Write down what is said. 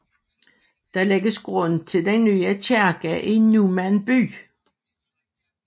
Der lægges grund til den nye kirke i Numan by